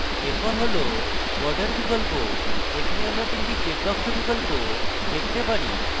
এরপর হল border বিকল্প আমরা এখানে 3 the check box বিকল্প দেখতে পারি